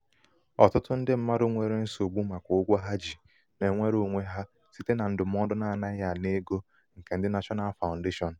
ọtụtụ ndị mmadụ nwere nsogbu màkà ụgwọ ha ji na-enwere onwe ha site na ndụmọdụ akwụmụgwọ n'adịghị ana ego nke ndị national foundation.